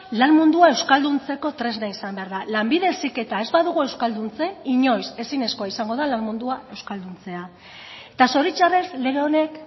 lan mundua euskalduntzeko tresna izan behar da lanbide heziketa ez badugu euskalduntzen inoiz ezinezkoa izango da lan mundua euskalduntzea eta zoritxarrez lege honek